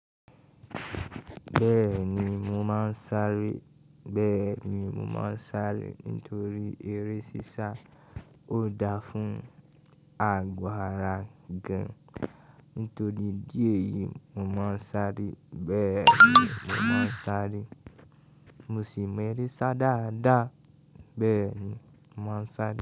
Bẹ́ẹ̀ni, mo máa ń sáré. Bẹ́ẹ̀ni, mo máa ń sáré nítorí eré sísá ò dáa fún àgbàrá gán. Nítorí idíẹ̀ yìí, mo máa ń sáré. Bẹ́ẹ̀ni, mo máa ń sáré. Mo sì mọ eré sá dáadáa. Bẹ́ẹ̀ni, mo máa ń sáré.